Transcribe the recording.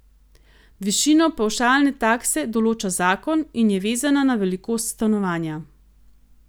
Višino pavšalne takse določa zakon in je vezana na velikost stanovanja.